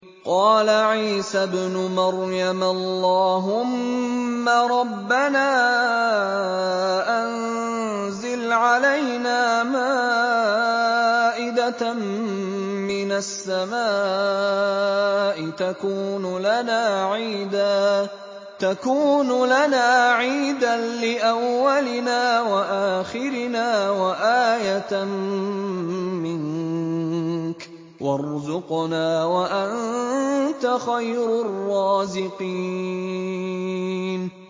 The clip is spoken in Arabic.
قَالَ عِيسَى ابْنُ مَرْيَمَ اللَّهُمَّ رَبَّنَا أَنزِلْ عَلَيْنَا مَائِدَةً مِّنَ السَّمَاءِ تَكُونُ لَنَا عِيدًا لِّأَوَّلِنَا وَآخِرِنَا وَآيَةً مِّنكَ ۖ وَارْزُقْنَا وَأَنتَ خَيْرُ الرَّازِقِينَ